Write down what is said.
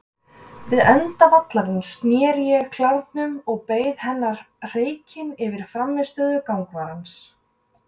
Við enda vallarins sneri ég klárnum og beið hennar hreykinn yfir frammistöðu gangvarans.